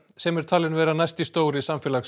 sem er talin vera næsti stóri